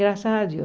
Graças a Deus.